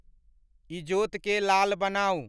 ईजोत के लाल बनाऊं